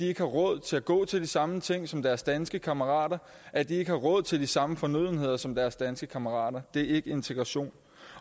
ikke har råd til at gå til de samme ting som deres danske kammerater at de ikke har råd til de samme fornødenheder som deres danske kammerater det er ikke integration